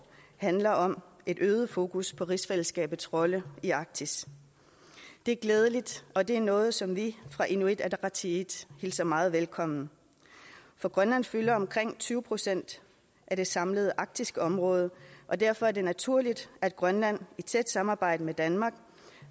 handler om et øget fokus på rigsfællesskabet rolle i arktis det er glædeligt og det er noget som vi fra inuit ataqatigiits hilser meget velkommen for grønland fylder omkring tyve procent af det samlede arktiske område og derfor er det naturligt at grønland i tæt samarbejde med danmark